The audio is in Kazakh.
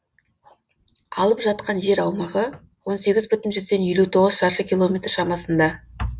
алып жатқан жер аумағы он сегіз бүтін жүзден елу тоғыз шаршы километр шамасында